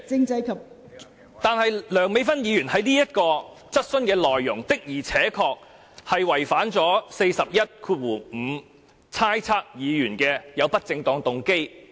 代理主席，然而，梁美芬議員這項質詢的內容，的確違反了《議事規則》第415條，即意指另一議員有不正當動機。